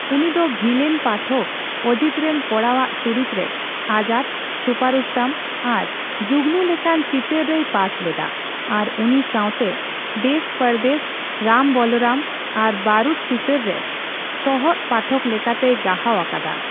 ᱩᱱᱤ ᱫᱚ ᱵᱷᱤᱞᱮᱱ ᱯᱟᱴᱷᱚᱠ ᱚᱡᱤᱛ ᱨᱮᱱ ᱠᱚᱲᱟ ᱟᱜ ᱪᱩᱨᱤᱛ ᱨᱮ ᱟᱡᱟᱫ, ᱪᱷᱩᱯᱟᱨᱩᱥᱛᱚᱢ ᱟᱨ ᱡᱩᱜᱱᱩ ᱞᱮᱠᱟᱱ ᱪᱤᱛᱟᱹᱨ ᱨᱮᱭ ᱯᱟᱴ ᱞᱮᱫᱟ ᱟᱨ ᱩᱱᱤ ᱥᱟᱣᱛᱮ ᱫᱮᱥᱼᱯᱚᱨᱫᱮᱥ, ᱨᱟᱢᱼᱵᱚᱞᱚᱨᱟᱢ ᱟᱨ ᱵᱟᱨᱩᱫ ᱪᱤᱛᱟᱹᱨ ᱨᱮ ᱥᱚᱦᱚᱫ ᱯᱟᱴᱷᱚᱠ ᱞᱮᱠᱟᱛᱮᱭ ᱜᱟᱦᱟᱣ ᱟᱠᱟᱫᱟ ᱾